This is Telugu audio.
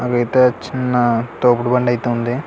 అవైతే చిన్న తోపుడు బండి అయితే ఉంది.